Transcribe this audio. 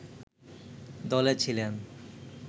দলে ছিলেন